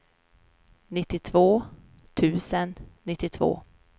nittiotvå tusen nittiotvå